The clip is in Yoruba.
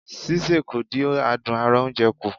Sísè kò dí àdún ara oúnje kù.